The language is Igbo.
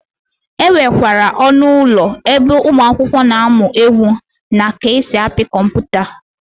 E nwekwara ọnụ ụlọ ebe ụmụakwụkwọ na-amụ egwu na ka esi apị kọmputa.